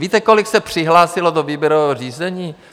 Víte, kolik se přihlásilo do výběrového řízení?